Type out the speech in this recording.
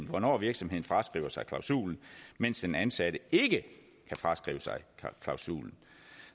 hvornår virksomheden fraskriver sig klausulen mens den ansatte ikke kan fraskrive sig klausulen